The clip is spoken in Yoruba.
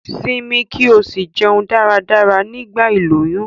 Simi ki o si jeun dáradára nigba iloyun